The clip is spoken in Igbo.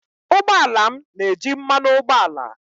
ụgbọ ala m na-eji mmanụ ụgbọala